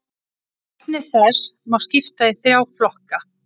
Efni þess má skipta í þrjá flokka.